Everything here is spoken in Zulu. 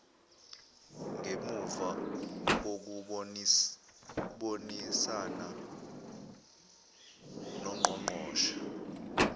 ngemuva kokubonisana nongqongqoshe